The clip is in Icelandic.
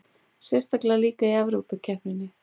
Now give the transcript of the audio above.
Sérstaklega líka í Evrópukeppninni.